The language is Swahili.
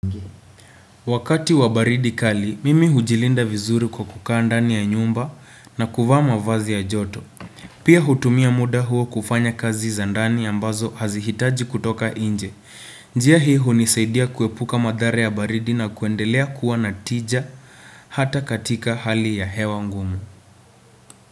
Wakati wa baridi kali, mimi hujilinda vizuri kwa kukaa ndani ya nyumba na kuvaa mavazi ya joto. Pia hutumia muda huo kufanya kazi za ndani ambazo hazihitaji kutoka inje. Njia hii hunisaidia kuepuka madhari ya baridi na kuendelea kuwa natija hata katika hali ya hewa ngumu.